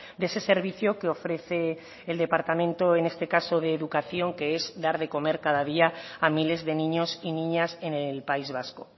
de ese servicio que ofrece el departamento en este caso de educación que es dar de comer cada día a miles de niños y niñas en el país vasco